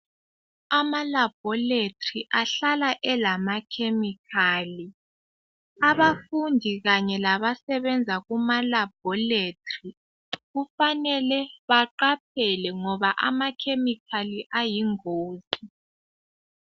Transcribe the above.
Amalabhorethi ahlala elama"chemical".Abafundi kanye labasebenza kumalabhorethi kufanele baqaphele ngoba ama"chemical" ayingozi.